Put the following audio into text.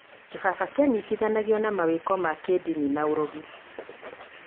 kĩbaba kĩanyitanagio na mawĩtĩkio ma kĩndini na ũrogi